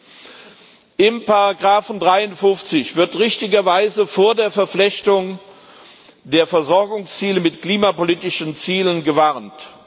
In Ziffer 53 wird richtigerweise vor der Verflechtung der Versorgungsziele mit klimapolitischen Zielen gewarnt.